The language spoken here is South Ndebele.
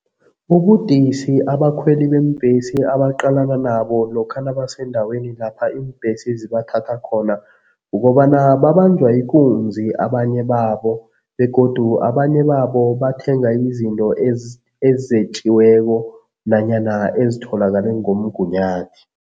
Ubudisi abakhweli beembhesi abaqalana nabo lokha nabasendaweni lapha iimbhesi zibathatha khona, kukobana babanjwa ikunzi abanye babo begodu abanye babo bathenga izinto ezetjiweko nanyana ezitholakale ngomgunyathi.